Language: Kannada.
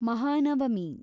ಮಹಾನವಮಿ